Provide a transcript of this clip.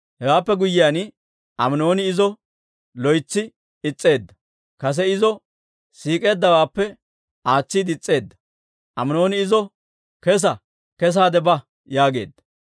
Hewaappe guyyiyaan, Aminooni izo loytsi is's'eedda; kase izo siik'eeddawaappe aatsiide is's'eedda. Aminooni izo, «Kessa! Kessaade ba!» yaageedda.